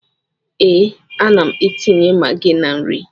Ee, ana m etinye magị na nri.